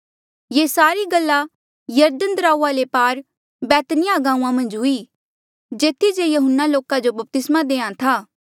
ये सारी गल्ला यरदन दराऊआ ले पार बैतनिय्याह गांऊँआं मन्झ हुई जेथी जे यहून्ना लोका जो बपतिस्मा देहां था